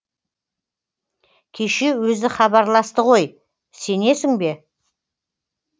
кеше өзі хабарласты ғой сенесің бе